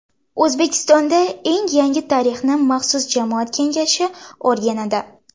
O‘zbekistonda eng yangi tarixni maxsus jamoat kengashi o‘rganadi.